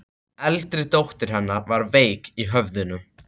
Eldri dóttir hennar var veik í höfðinu.